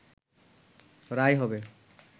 রায় হবে